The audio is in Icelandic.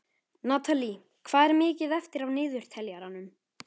Natalí, hvað er mikið eftir af niðurteljaranum?